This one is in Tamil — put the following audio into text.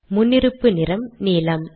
முன்னிருப்பு நிறம் நீலம்